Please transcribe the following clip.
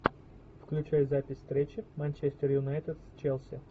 включай запись встречи манчестер юнайтед челси